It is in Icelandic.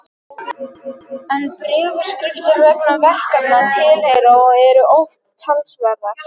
En bréfaskriftir vegna verkefna tilheyra og eru oft talsverðar.